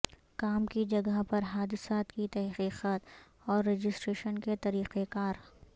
کام کی جگہ پر حادثات کی تحقیقات اور رجسٹریشن کے طریقہ کار